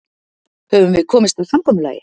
Höfum við komist að samkomulagi?